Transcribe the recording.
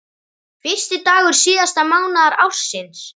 Fyrsti dagur síðasta mánaðar ársins.